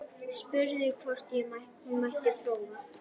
Spurði hvort hún mætti prófa.